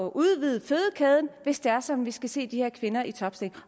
at udvide fødekæden hvis det er sådan at vi skal se de her kvinder i topstillinger